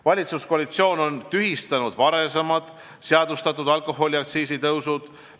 Valitsuskoalitsioon on tühistanud varem seadustatud alkoholiaktsiisitõusud.